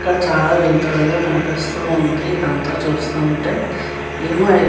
ఇక్కడ చాలా వెళ్తురు గా కనిపిస్తూ ఉంది. ఇదంతా చూస్తుంటే. ఏమో --